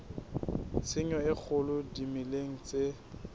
tshenyo e kgolo dimeleng tse